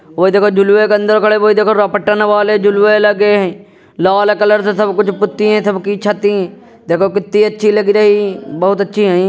वोई देखो झुलवे के अंदर खड़े वोई देखो रपतन वाले झुलवेल लगे है लाल कलर से सब पुत्ती है सबकी छती देखि कितनी अच्छी लग रही बोहोत अच्छी हई ।